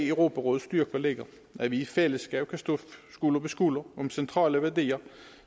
europarådets styrke ligger at vi i fællesskab kan stå skulder ved skulder om centrale værdier